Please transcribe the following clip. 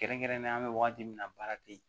Kɛrɛnkɛrɛnnenya an bɛ wagati min na baara tɛ yen